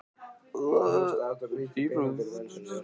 Því hún kunni enn að svara fyrir sig hún